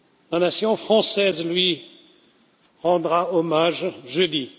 La nation française lui rendra hommage jeudi.